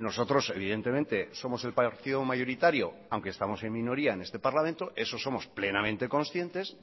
nosotros evidentemente somos el partido mayoritario aunque estamos en minoría en este parlamento eso somos plenamente conscientes